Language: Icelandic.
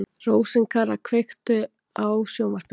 Rósinkara, kveiktu á sjónvarpinu.